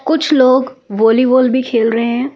कुछ लोग वॉलीबॉल भी खेल रहे हैं ।